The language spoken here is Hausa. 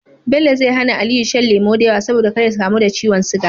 Bello zai hAna aliyu shan lemo dayawa saboda kar ya kamu da ciwon siga